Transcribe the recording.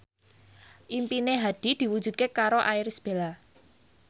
impine Hadi diwujudke karo Irish Bella